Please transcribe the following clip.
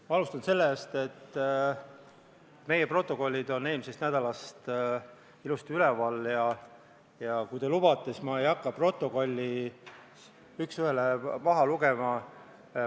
Ma alustan sellest, et meie protokollid on eelmisest nädalast ilusti üleval ja kui te lubate, siis ma ei hakka protokolli üks ühele maha lugema.